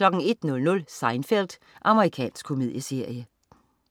01.00 Seinfeld. Amerikansk komedieserie